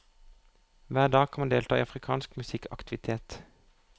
Hver dag kan man delta i afrikansk musikkaktivitet.